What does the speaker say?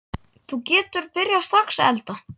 Þú getur byrjað strax að elda.